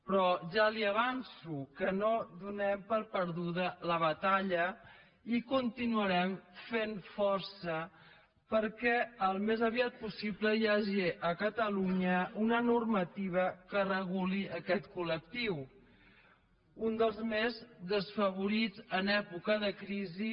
però ja li avanço que no donem per perduda la batalla i continuarem fent força perquè al més aviat possible hi hagi a catalunya una normativa que reguli aquest col·lectiu un dels més desfavorits en època de crisi